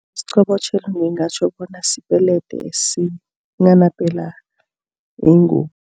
Isiqobotjhelo ngingatjho bona sipelede esinghanapela ingubo.